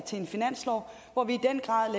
til en finanslov hvor vi